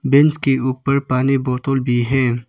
Bench के ऊपर पानी बोतल भी है।